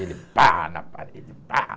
Ele pá na parede, pá.